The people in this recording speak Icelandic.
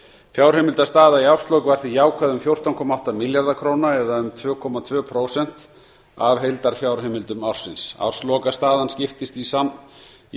fjárheimildastaða í árslok var því jákvæð um fjórtán komma átta milljarða króna eða um tvö komma tvö prósent af heildarfjárheimildum ársins árslokastaðan skiptist í samtals þrjú